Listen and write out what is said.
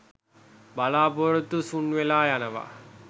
බලාපොරොත්තු සුන් වෙලා යනවා